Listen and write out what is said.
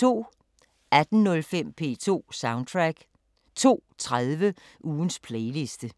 18:05: P2 Soundtrack 02:30: Ugens playliste